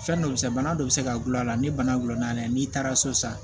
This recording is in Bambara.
Fɛn dɔ bɛ se bana dɔ bɛ se ka gulɔ a la ni bana gulonna n'i taara so sisan